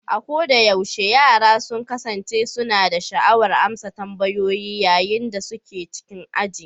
A kodayaushe, yara sun kasance suna da sha'awar amsa tambayoyi yayin da suke cikin aji